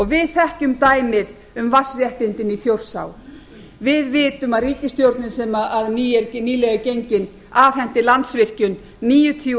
við þekkjum dæmið um vatnsréttindin í þjórsá við vitum að ríkisstjórnin sem nýlega er gengin afhenti landsvirkjun níutíu